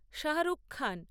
Shahrukh Khan